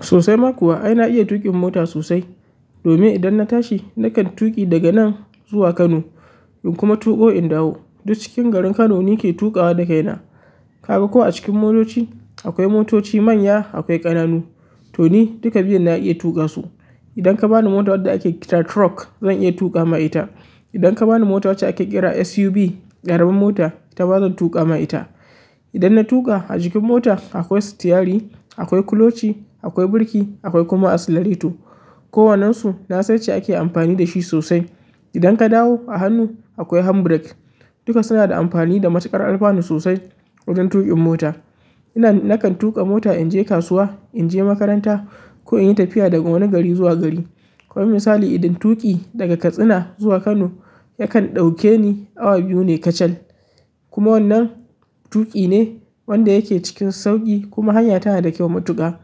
Sosaima kuwa, ai na iya tuƙin mota sosai domin idan na tashi na kan tuƙi daga nan zuwa Kano in kuma tuƙo in dawo. Duk cikin garin Kano ni ke tuƙawa da kaina. Ka ga ko a cikin motoci akwai motoci manya akwai ƙananu to ni duka biyun na iya tuƙa su. Idan ka bani mota wadda a ke kira truck zan iya tuƙa ma ita. Idan ka bani mota wacce a ke kira SUV ƙaramin mota ita ma zan tuƙa ma ita. Idan na tuƙa ajikin mota akwai sitiyari, akwai kuloci, akwai birki akwai kuma accelerator. Kowane su na san yanda ake amfani da shi sosai. Idan ka dawo a hannu akwai hand break duka suna da amfani da matsakar alfanu sosai wajen tuƙin mota. Ina na kan tuƙa mota in je kasuwa, in je makaranta ko in yi tafiya daga wani gari zuwa gari. Ko misali idan tuƙi daga Katsina zuwa Kano yakan ɗauke ni awa biyu ne kacal. Kuma wannan tuƙi ne wanda yake cikin sauƙi kuma hanya tana da kyau matuƙa.